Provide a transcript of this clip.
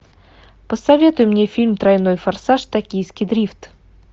посоветуй мне фильм тройной форсаж токийский дрифт